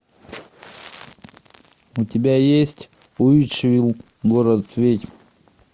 у тебя есть уитчвилль город ведьм